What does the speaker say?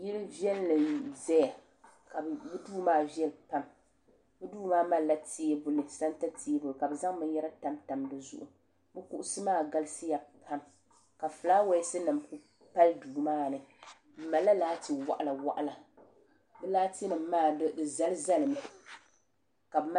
yili viɛlli n ʒɛya ka di duu maa viɛli pam di Duu maa malila sɛnta teebuli ka bi zaŋ binyɛra tamtam dizuɣu bi kuɣusi maa galisiya pam ka fulaawaasi nim pali duu maa ni di malila laati waɣala waɣala di laati nim maa di zali zali mi ka bi mali